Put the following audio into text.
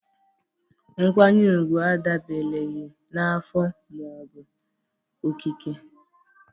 Nkwanyere ugwu adabereghị na afọ ma ọ bụ okike